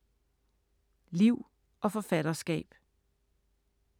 Liv og forfatterskab